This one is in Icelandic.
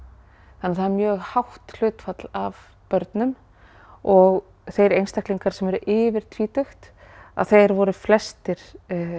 þannig að það er mjög hátt hlutfall af börnum og þeir einstaklingar sem voru yfir tvítugt að þeir voru flestir